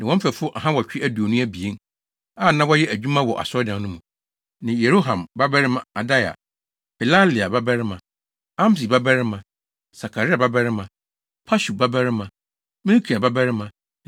ne wɔn mfɛfo ahanwɔtwe aduonu abien (822) a, na wɔyɛ adwuma wɔ Asɔredan no mu, ne Yeroham babarima Adaia, Pelalia babarima, Amsi babarima, Sakaria babarima, Pashur babarima, Malkia babarima